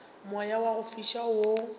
moya wa go fiša wo